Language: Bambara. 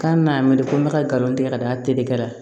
K'an na miri ko n bɛ ka galon tigɛ ka da a tedege kɛra